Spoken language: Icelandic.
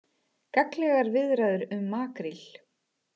Gagnlegar viðræður um makríl